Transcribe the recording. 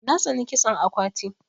Na tsani kitson akwati.